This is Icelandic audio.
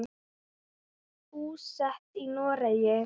Búsett í Noregi.